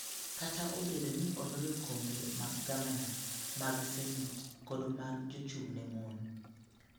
Kata obedo ni ne oloyo kombe mag gavana, mag senet kod mag jachung'ne mon,